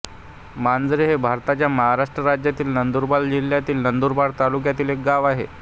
मांजरे हे भारताच्या महाराष्ट्र राज्यातील नंदुरबार जिल्ह्यातील नंदुरबार तालुक्यातील एक गाव आहे